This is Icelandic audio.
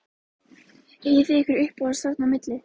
Eigið þið ykkur uppáhald þarna á milli?